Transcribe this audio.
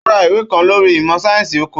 Ó ra ìwé kan lórí ìmọ̀ sáyẹ́sì oko.